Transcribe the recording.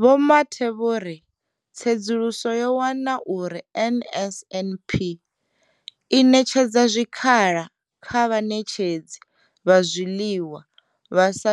Vho Mathe vho ri tsedzuluso yo wana uri NSNP i ṋetshedza zwikhala kha vhaṋetshedzi vha zwiḽiwa vha sa